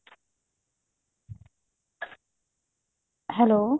hello